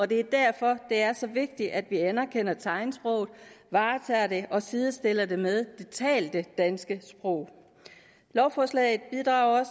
det er derfor det er så vigtigt at vi anerkender tegnsproget varetager det og sidestiller det med det talte danske sprog lovforslaget bidrager